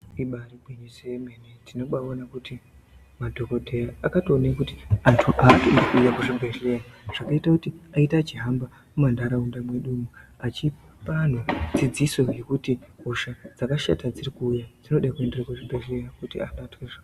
Ribari gwinyiso yemene tinobaona kuti madhokodheya akatoone kuti antu atodi kuuya kuzvibhehleya zvinoita kuti aite achihamba muntaraunda mwedumwo vachipa anhu dzidziso yekuti hosha dzakashata dzirikuuya dzinode kuenderwa kuzvibhehleya.